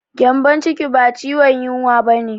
Gyambon ciki ba ciwon yunwa ba ne.